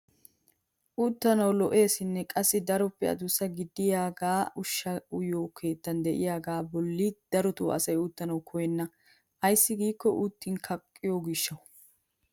Uttanawu lo"eesinne qassi daroppe adussa gididaagee ushshaa uyiyoo keettan de'iyaagaa bolli darotoo asay uttanawu koyenna! ayssi giikko uttin kaqqiyoo gishshawu!